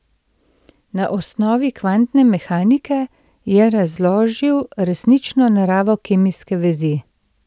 Na osnovi kvantne mehanike je razložil resnično naravo kemijske vezi.